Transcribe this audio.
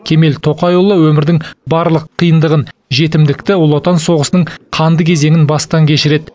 кемел тоқайұлы өмірдің барлық қиындығын жетімдікті ұлы отан соғысының қанды кезеңін бастан кешіреді